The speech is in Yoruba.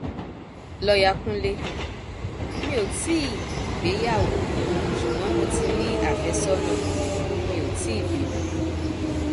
lọyà kúnlemí ò tí ì gbéyàwó ṣùgbọn mo ti ní àfẹsọnà mi ò tì í bímọ